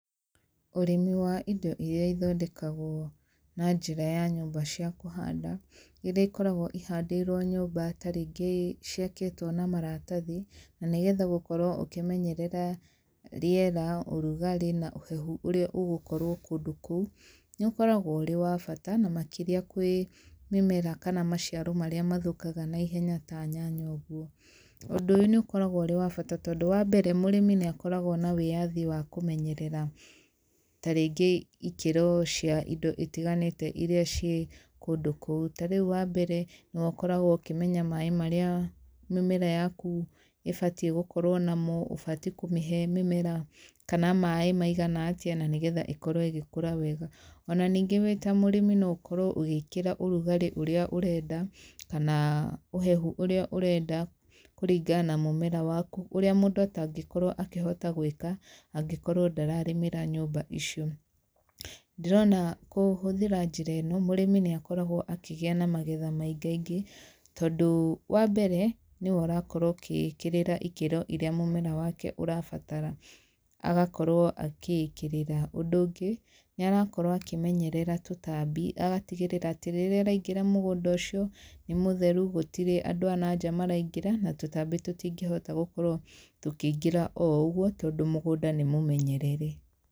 Ũrĩmi wa indo iria cithondekagwo na njĩra ya nyũmba cia kũhanda irĩa ĩkoragwo ihandĩirwo nyũmba tarĩngĩ ciakĩtwo na maratathi na nĩgetha gũkorwo ũkĩmenyerera rĩera, ũrugarĩ na ũhehu ũrĩa ũgũkorwo kũndũ kũu. Nĩ ũkoragwo ũrĩ wa bata na makĩria kwĩ mĩmera kana maciaro marĩa mathũkaga na ihenya ta nyanya ũguo, ũndũ ũyũ nĩ ũkoragwo ũrĩ wa bata tondũ, wambere mũrĩmi nĩ akoragwo na wĩathi wa kũmenyerera tarĩngĩ ikĩro cia indo itiganĩte iria ciĩ kũndũ kũu. Rĩu ta wa mbere nĩ ũkoragwo ukĩmenya maaĩ marĩa mĩmera yaku ĩbatiĩ gũkorwo namo, ũbatiĩ kũmĩhe mĩmera kana maĩ maigana atĩa na nĩgetha ĩkorwo ĩgĩkũra wega. Ona ningĩ wĩ ta mũrĩmi no ũkorwo ũgĩkĩra ũrugarĩ ũrĩa ũrenda kana ũhehu ũrĩa ũrenda kũringana na mũmera waku, ũrĩa mũndũ atangĩkorwo akĩhota gwĩka angĩkorwo ndararĩmĩra nyũmba icio. Ndĩrona kũhũthĩra njĩra ino mũrĩmi nĩ akoragwo akĩgĩa na magetha maingaingĩ tondũ wa mbere nĩwe ũrakorwo ũkĩkĩrĩra ikĩro irĩa mũmera wake ũrabatara, agakorwo agĩikĩrĩra. Ũndũ ũngĩ nĩ arakorwo akĩmenyerera tũtambi agatigĩrĩra atĩ rĩrĩa araingĩra mũgũnda ũcio nĩ mũtheru gũtirĩ andũ anaja maraingĩra na tũtambi tũtingĩhota gũkorwo tukĩingĩra o ũgũo tondũ mũgũnda nĩ mũmenyerere.